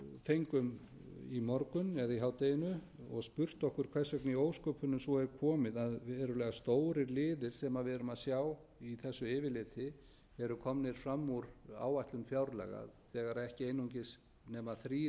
fengum í morgun eða í hádeginu og spurt okkur hvers vegna í ósköpunum svo er komið að verulega stórir liðir sem við erum að sjá í þessu yfirliti eru komnir fram úr áætlun fjárlaga þegar ekki einungis nema þrír